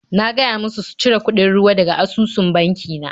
Na gaya musu su cire kuɗin ruwa daga asusun banki na.